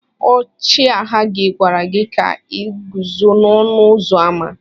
Ọchịagha gị gwara gị ka i guzo n'ọnụ ụzọ ámá.